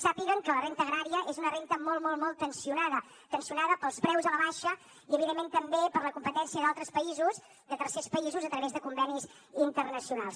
sàpiguen que la renda agrària és una renda molt molt molt tensionada tensionada pels preus a la baixa i evidentment també per la competència d’altres països de tercers països a través de convenis internacionals